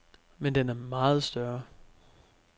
Men den er meget større.